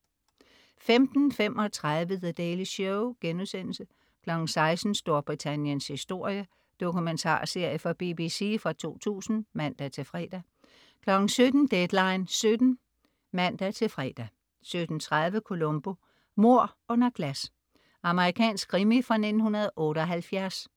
15.35 The Daily Show* 16.00 Storbritanniens historie. Dokumentarserie fra BBC fra 2000 (man-fre) 17.00 Deadline 17:00 (man-fre) 17.30 Columbo: Mord under glas. Amerikansk krimi fra 1978